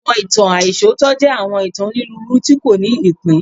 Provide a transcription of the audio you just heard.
Awọn itan aisọtọ jẹ awọn itan oniruuru ti ko ni ipin